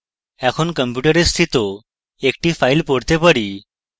এখন কম্পিউটারে স্থিত একটি file পড়তে চাই